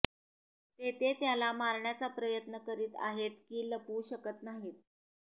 ते ते त्याला मारण्याचा प्रयत्न करीत आहेत की लपवू शकत नाही